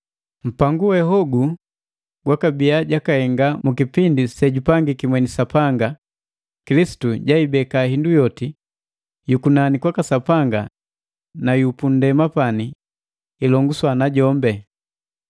Mpangu we hogu gwabiya jakahenga mu kipindi sejupangiki mweni Sapanga, Kilisitu jaibeka hindu yoti yukunani kwaka Sapanga na yupundema pamu, ilonguswa na jombi.